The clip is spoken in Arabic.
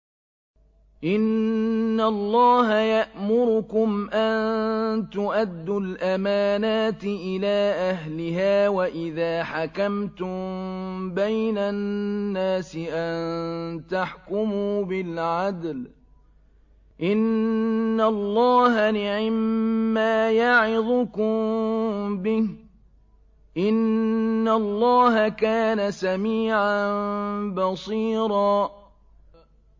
۞ إِنَّ اللَّهَ يَأْمُرُكُمْ أَن تُؤَدُّوا الْأَمَانَاتِ إِلَىٰ أَهْلِهَا وَإِذَا حَكَمْتُم بَيْنَ النَّاسِ أَن تَحْكُمُوا بِالْعَدْلِ ۚ إِنَّ اللَّهَ نِعِمَّا يَعِظُكُم بِهِ ۗ إِنَّ اللَّهَ كَانَ سَمِيعًا بَصِيرًا